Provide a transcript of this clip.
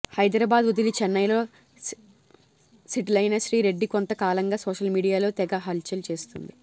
హైదరాబాద్ వదిలి చెన్నైలో సెటిలైన శ్రీ రెడ్డి కొంత కాలంగా సోషల్ మీడియాలో తెగ హల్చల్ చేస్తోంది